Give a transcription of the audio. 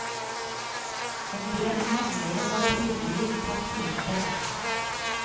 En del meglere har tydeligvis tatt hintet.